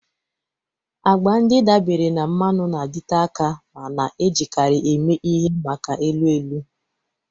Agba ndị dabeere na mmanụ na-adịte aka ma na-ejikarị eme ihe maka elu elu.